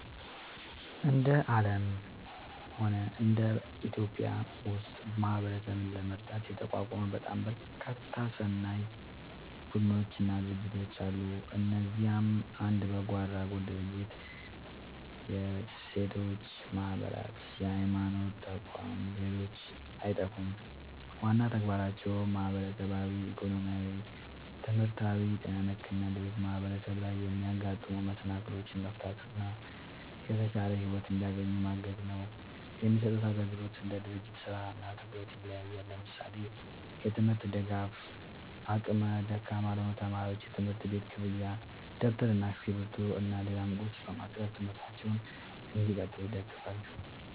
እንደ አለምም ሆነ በኢትዮጵያ ውስጥ ማህበረሰብን ለመርዳት የተቋቋሙ በጣም በርካታ ሰናይ ቡድኖች እና ድርጅቶች አለ። እነዚህም እንደ በጎ አድራጎት ድርጅቶች፣ የሴቶች ማህበራት፣ የሀይማኖት ተቋም ሌሎችም አይጠፉም። ዋና ተግባራቸውም ማህበራዊ፣ ኢኮኖሚያዊ፣ ትምህርታዊ፣ ጤና ነክ እና ሌሎችም ማህበረሰብ ላይ የሚያጋጥሙ መሰናክሎችን መፍታት እና የተሻለ ሒወት እንዲያገኙ ማገዝ ነው። የሚሰጡት አግልግሎት እንደ ድርጅቱ ስራ እና ትኩረት ይለያያል። ለምሳሌ፦ የትምርት ድጋፍ አቅመ ደካማ ለሆኑ ተማሪዎች የትምህርት ቤት ክፍያ ደብተር እና እስክሪብቶ እና ሌላም ቁስ በማቅረብ ትምህርታቸውን እንዲቀጥሉ ይደግፋሉ